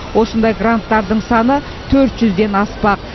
осындай гранттардың саны төрт жүзден аспақ